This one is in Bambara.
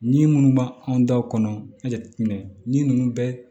Ni minnu b'an anw daw kɔnɔ a jateminɛ ni ninnu bɛ